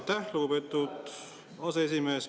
Aitäh, lugupeetud aseesimees!